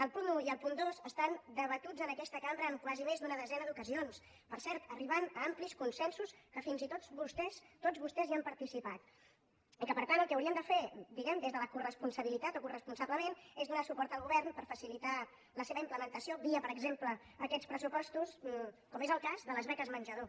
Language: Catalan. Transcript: el punt un i el punt dos estan debatuts en aquesta cambra en quasi més d’una desena d’ocasions per cert arribant a amplis consensos en què fins i tots vostès tots vostès han participat i que per tant el que haurien de fer diguem ne des de la coresponsabilitat o coresponsablement és donar suport al govern per facilitar la seva implementació via per exemple aquests pressupostos com és el cas de les beques menjador